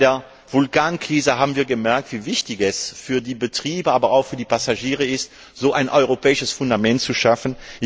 Bei der Vulkankrise haben wir gemerkt, wie wichtig es für die Betriebe, aber auch für die Passagiere ist, so ein europäisches Fundament zu schaffen.